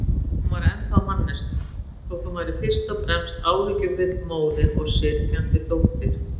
Hún var ennþá manneskja, þótt hún væri fyrst og fremst áhyggjufull móðir og syrgjandi dóttir.